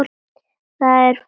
Þetta er fallegt kvöld.